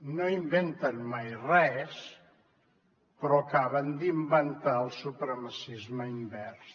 no inventen mai res però acaben d’inventar el supremacisme invers